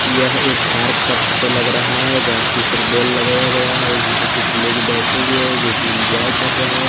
यह एक पार्क का फोटो लग रहा है गाछी पर बॉल लगाया गया है यहां पर कुछ लोग बैठे हुए हैं जो कि एंजॉय कर रहे हैं।